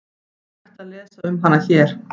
Hægt að lesa um hana hér.